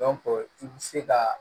i bi se ka